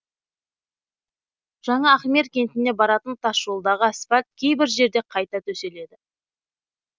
жаңа ахмер кентіне баратын тасжолдағы асфальт кейбір жерде қайта төселеді